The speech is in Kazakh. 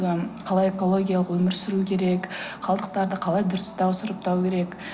қалай экологиялық өмір сүру керек қалдықтарды қалай дұрыстау сұрыптау керек